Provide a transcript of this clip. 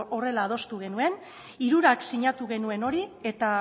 horrela adostu genuen hirurak sinatu genuen hori eta